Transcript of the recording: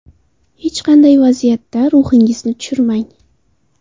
Hech qanday vaziyatda ruhingizni tushirmang.